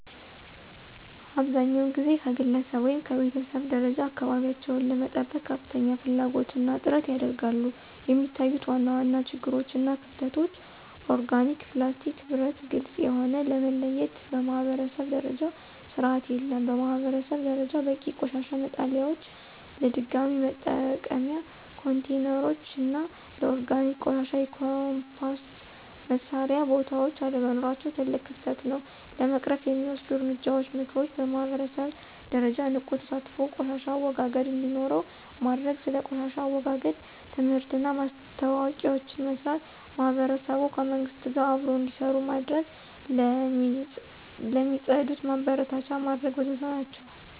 አብዛኛውን ጊዜ ከግለሰብ ወይም ከቤተሰብ ደረጃ አካባቢቸውን ለመጠበቅ ከፍተኛ ፍላጎት እና ጥረት ያደርጋሉ፣ የሚታዩት ዋና ዋና ችግሮች እና ክፍተቶች (ኦርጋኒክ፣ ፕላስቲክ፣ ብረት፣ ግልጽ የሆነ) ለመለየት በማኅበረሰብ ደረጃ ስርዓት የለም። በማህበረሰብ ደረጃ በቂ የቆሻሻ መጣሊያዎች፣ ለድገሚ መጠቀም ኮንቴይነሮች እና ለኦርጋኒክ ቆሻሻ የኮምፖስት መስሪያ ቦታዎች አለመኖራቸው ትልቅ ክፍተት ነው። ለመቅረፍ የሚወሰዱ እርምጃዎች (ምክሮች) በማህበረሰብ ደረጃ ንቁ ተሳትፎ ቆሻሻ አወጋገድ እንዴኖረው ማድርግ። ስለ ቆሻሻ አወጋገድ ትምህርትና ማስታወቂያዎችን መስራት። ማህበረሰቡ ከመንግሥት ጋር አብሮ እንዴሰሩ መድረግ። ለሚፅድት ማበረታቻ መድረግ ወዘተ ናቸው።